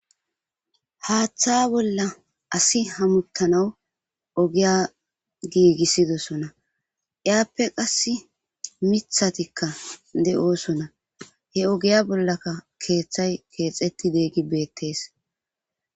Haatha bolla assi hemethanawu ogiya gigisidosona. Iyape qassi mithathikka de'oosona. He oggiya bollakka kethay kexetidiyage bethess.